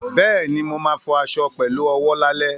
Bẹ́ẹ̀ni, mo ma fọ aṣọ fọ aṣọ pẹ̀lú owó lálẹ́